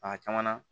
A caman na